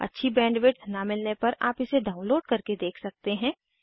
अच्छी बैंडविड्थ न मिलने पर आप इसे डाउनलोड करके देख सकते हैं